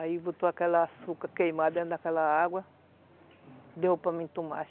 Aí botou aquela açúcar queimada dentro daquela água, deu para mim tomar.